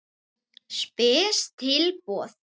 Spes tilboð.